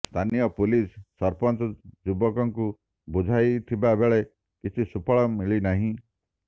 ସ୍ଥାନୀୟ ପୁଲିସ ସଂରପଚ ଯୁବକଙ୍କୁ ବୁଝାଇଥିବାବେଳେ କିଛି ସୁଫଳ ମିଳିନାହିଁ